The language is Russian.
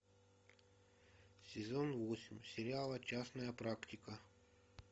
сезон восемь сериала частная практика